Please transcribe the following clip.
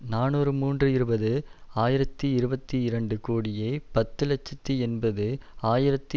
நாநூறு மூன்று இருபது ஆயிரத்தி இருபத்தி இரண்டு கோடியே பத்து இலட்சத்தி எண்பது ஆயிரத்தி